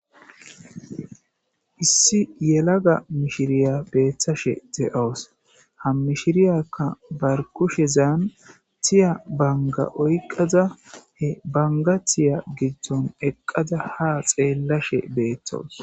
Issi yelagga mishshirya bettashe dawusi ha mishshiryaka ba kushshezan tiyya bangga oyiqqada he bangga tiyya giddon eqqada ha xeelashshe betawus.